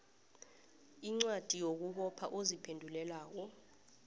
incwadi yokubopha oziphendulelako